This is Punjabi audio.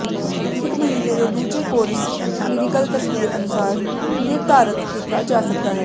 ਇੱਕ ਮਹੀਨੇ ਦੇ ਦੂਜੇ ਕੋਰਸ ਕਲੀਨਿਕਲ ਤਸਵੀਰ ਅਨੁਸਾਰ ਨਿਰਧਾਰਤ ਕੀਤਾ ਜਾ ਸਕਦਾ ਹੈ